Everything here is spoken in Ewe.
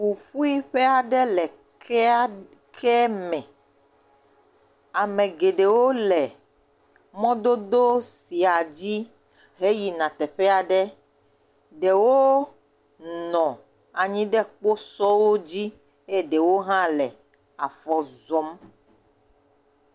Ƒuƒui ƒe aɖe le keme, ame geɖewo le mɔdodo sia dzi heyina teƒe aɖe, ɖewo nɔ anyi ɖe kposɔ dzi eye ɖewo hã le afɔ zɔm.